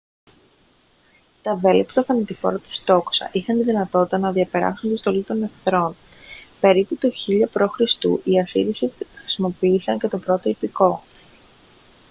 τα βέλη από τα θανατηφόρα τους τόξα είχαν τη δυνατότητα να διαπεράσουν την στολή των εχθρών περίπου το 1000 π.χ. οι ασσύριοι χρησιμοποίησαν και το πρώτο ιππικό